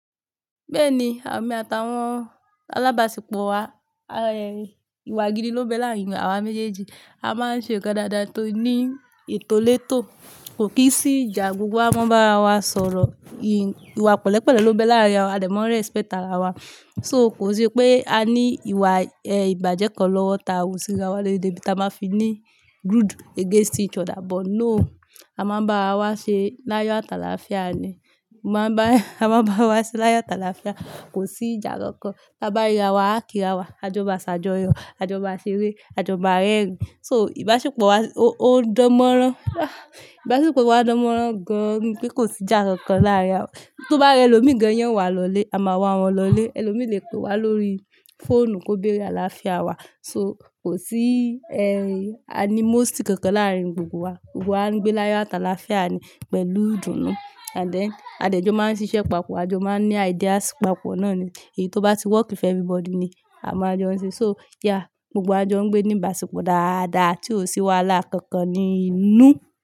Bẹ́ẹ̀ni, àmi àtàwọn alábàáṣepọ̀ wa, ìwà gidi ló ń bẹ láàárín awa méjèèjì. A máa ń ṣe nǹkan dáadáa tó ní ìtolétò, kò kí n sí ìjà gbogbo wa máa ń bá ara wa sọ̀rọ̀, ìwà pẹ̀lẹ́pẹ̀lẹ́ ló ń bẹ láàárín wa, a dẹ̀ máa n respect ara wa. So kò sí pé a ní ìwà ìbàjẹ́ kan lọ́wọ́ tàa rò sí ara wa, léde bí ta máa fi ní grudge against each other but no, a máa ń bá ara wa ṣe láyọ̀ atàlàáfíà ni. A máa ń bá ara wa ṣe láyà tàlàáfíà, kò sí ìjà kankan. Bá bá rira wa, a kí ra wa, a jọ máa ṣàjọyọ̀, a jọ máa ṣeré, a jọ máa rẹ́rìn-ín. So ìbáṣepọ̀ wa ó ń dánmọ́rán. Ìbáṣepọ̀ wa dánmọ́rán gan-an débí pé kò sí ìjà kankan láàárín wa. Tó bá rẹ ẹlòmíi gan, yàn wá lọlé, a máa wá wọn lọlé. Ẹlòmí le pe wa lórí fóònù kó béèrè àlàáfíà wa. So kò sí animosity kankan láàárín gbogbo wa. Gbogbo wa ń gbé láyọ̀ atàlàáfíà ni pẹ̀lú ìdùnnú. Àdí ẹ, adẹ́jọ máa ń ṣiṣẹ́ papọ̀, a jọ máa ń ní ideas papọ̀ náà ni èyí tó bá ti wọ́ìkì fún everybody ni a mọ ajọ ń ṣe. So yeah, gbogbo wa jọ ń gbé ní ìbáṣepọ̀ dáadáa tí ò sí wàhálà kankan ní inú.